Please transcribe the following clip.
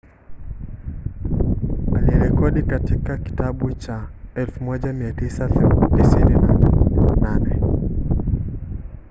alijirekodi katika kitabu cha 1998